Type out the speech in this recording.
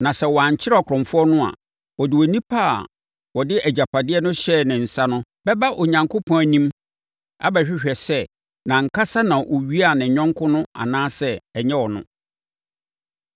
Na sɛ wɔankyere ɔkorɔmfoɔ no a, wɔde onipa a wɔde agyapadeɛ no hyɛɛ ne nsa no bɛba Onyankopɔn anim abɛhwehwɛ sɛ nʼankasa na ɔwiaa ne yɔnko no anaasɛ ɛnyɛ ɔno.